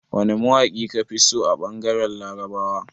Wane mawaƙi ka fi so a ɓangaren Larabawa?